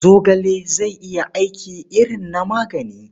Zogale zai iya aiki irin na magani.